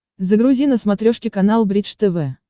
загрузи на смотрешке канал бридж тв